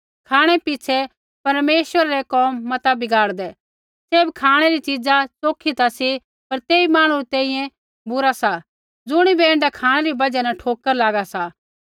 खाँणै पिछ़ै परमेश्वरा रै कोम मता बगाड़दै सैभ खाँणै री च़ीज़ा च़ोखी ता सा पर तेई मांहणु री तैंईंयैं बुरा सा ज़ुणिबै ऐण्ढा खाँणै री बजहा न ठोकर लागा सा